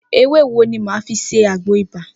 Ewé wo ni mà á fi ṣe àgbo ibà?